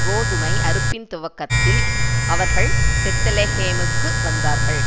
கோதுமை அறுப்பின் துவக்கத்தில் அவர்கள் பெத்லெகேமுக்கு வந்தார்கள்